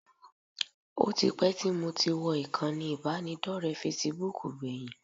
Ó ti pẹ́ tí mo ti wọ ìkànnì ìbánidọ́rẹ̀ẹ́ Facebook gbẹ̀yìn